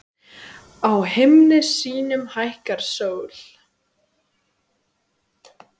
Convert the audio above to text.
Á himni sínum hækkar sól.